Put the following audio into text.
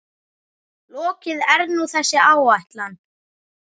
Lokið er nú þessi ætlan.